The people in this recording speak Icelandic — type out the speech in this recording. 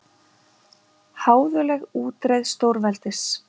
Háðuleg útreið stórveldis